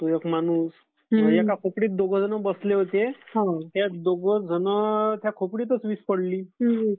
तो एक माणूस. एका झोपडीत दोघं बसले होते. त्या दोघं जणांच्या झोपडीतच वीज पडली.